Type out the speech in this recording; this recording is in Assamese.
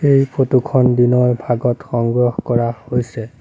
এই ফটো খন দিনৰ ভাগত সংগ্ৰহ কৰা হৈছে।